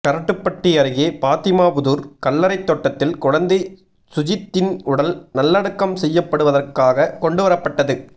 கரட்டுப்பட்டி அருகே பாத்திமாபுதூர் கல்லறைத் தோட்டத்தில் குழந்தை சுஜித்தின் உடல் நல்லடக்கம் செய்யப்படுவதற்காக கொண்டு வரப்பட்டது